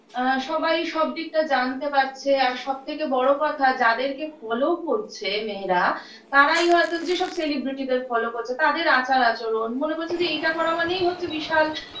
আ সবাই সব দিকটা জানতে পারছে আর সব থেকে বড় কথা যাদেরকে follow করছে মেয়েরা তারাই হয়তো সব celebrity -দের follow করছে তাদের আচার-আচরণ মনে করছে এটা করা মানেই হচ্ছে বিশাল